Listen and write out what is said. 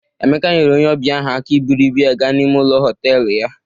Emeka nyere onye ọbịa ahụ aka iburu ibu ya gaa n'ime ụlọ họtelu ya